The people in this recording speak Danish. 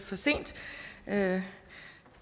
at